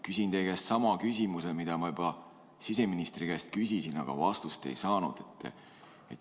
Küsin teie käest sama küsimuse, mida ma juba siseministri käest küsisin, aga vastust ei saanud.